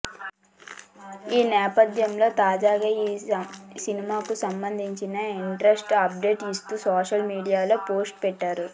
ఈ నేపథ్యంలో తాజాగా ఈ సినిమాకు సంబంధించిన ఇంట్రెస్టింగ్ అప్డేట్ ఇస్తూ సోషల్ మీడియాలో పోస్ట్ పెట్టారు